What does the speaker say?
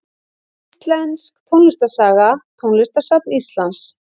Íslensk tónlistarsaga Tónlistarsafn Íslands.